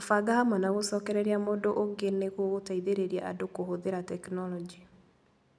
Kũbanga Hamwe na Gũcokereria Mũndũ Ũngĩ nĩ gũgũteithĩrĩria andũ kũhũthĩra tekinolonjĩ.